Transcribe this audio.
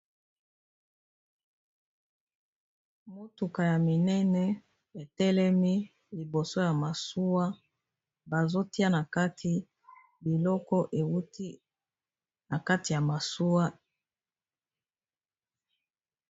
motuka ya minene etelemi liboso ya masuwa bazotia na kati biloko euti na kati ya masuwa